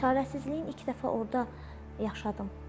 Çarəsizliyin ilk dəfə orda yaşadım.